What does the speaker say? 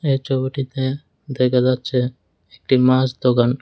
এই চবিটিতে দেখা যাচ্ছে একটি মাস দোকান।